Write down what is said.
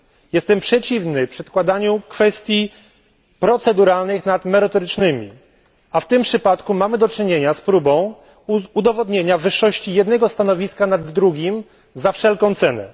Jestem przeciwny przedkładaniu kwestii proceduralnych nad merytorycznymi, a w tym przypadku mamy do czynienia z próbą udowodnienia wyższości jednego stanowiska nad drugim za wszelką cenę.